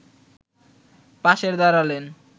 পাশে দাঁড়ালে